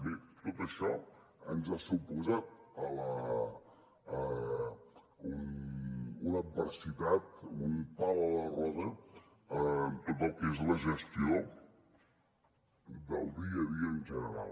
bé tot això ens ha suposat una adversitat un pal a la roda en tot el que és la gestió del dia a dia en general